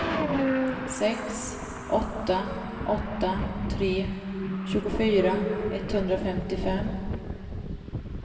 sex åtta åtta tre tjugofyra etthundrafemtiofem